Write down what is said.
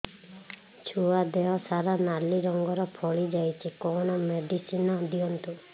ଛୁଆ ଦେହ ସାରା ନାଲି ରଙ୍ଗର ଫଳି ଯାଇଛି କଣ ମେଡିସିନ ଦିଅନ୍ତୁ